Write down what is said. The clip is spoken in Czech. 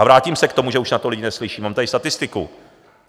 A vrátím se k tomu, že už na to lidi neslyší, mám tady statistiku.